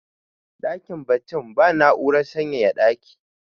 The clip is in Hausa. dakin baccin ba na'urar sanyaya dakin